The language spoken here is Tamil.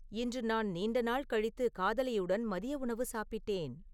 இன்று நான் நீண்ட நாள் கழித்து காதலியுடன் மதிய உணவு சாப்பிட்டேன்